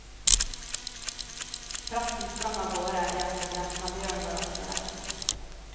Presten sprang av gårde det han kunne, men bjørnen var raskere.